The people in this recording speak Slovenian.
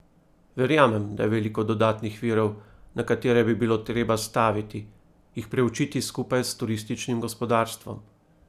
Verjamem, da je veliko dodatnih virov, na katere bi bilo treba staviti, jih preučiti skupaj s turističnim gospodarstvom.